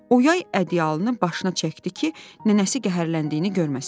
O yay ədyalını başına çəkdi ki, nənəsi qəhərləndiyini görməsin.